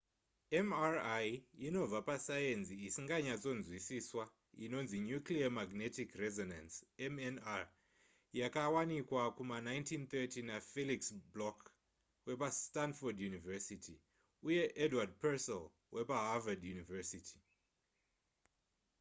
mri inobva pasayenzi isinganyatsonzwisiswa inonzi nuclear magnetic resonance mnr yakawanika kuma 1930 nafelix bloch wepastanford university uye edward purcell wepaharvard university